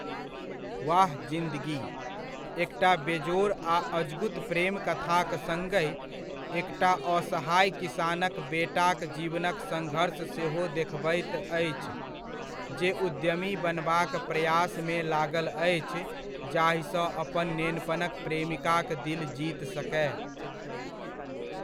वाह जिंदगी' एकटा बेजोड़ आ अजगुत प्रेम कथाक सङ्गहि, एकटा असहाय किसानक बेटाक जीवनक सङ्घर्ष सेहो देखबैत अछि, जे उद्यमी बनबाक प्रयासमे लागल अछि जाहिसँ अपन नेनपनक प्रेमिकाक दिल जीत सकय।